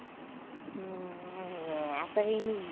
हम्म असं काय नाही आहे.